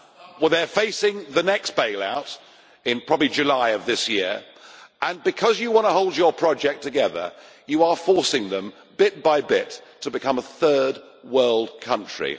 Well they are facing the next bailout, in probably July of this year, and because you want to hold your project together you are forcing them, bit by bit, to become a third world country.